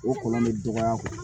O kɔlɔn bɛ dɔgɔya